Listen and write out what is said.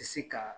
Tɛ se ka